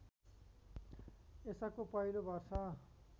यसको पहिलो वर्ष